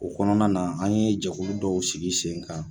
O kɔnɔna na an ye jɛkulu dɔw sigi sen kan.